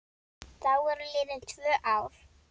Þá voru liðin tvö ár.